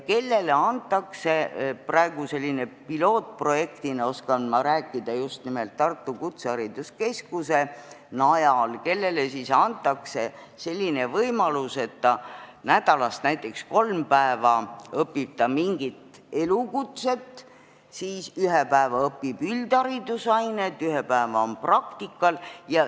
Neile antakse praegu selline võimalus – pilootprojektist oskan ma rääkida just nimelt Tartu Kutsehariduskeskuse najal –, et ta nädalast näiteks kolm päeva õpib mingit elukutset, siis ühe päeva õpib üldharidusaineid, ühe päeva on praktikal.